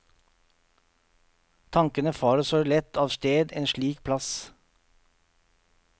Tankene farer så lett av sted en slik plass.